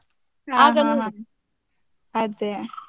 ಅದ್ದೇ.